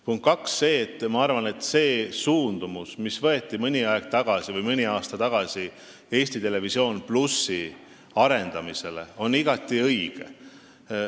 Punkt kaks: ma arvan, et see suund, mis võeti mõni aasta tagasi ETV+ arendamisele, on igati õige.